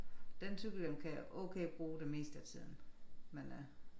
Den cykelhjelm kan jeg okay bruge det meste af tiden men øh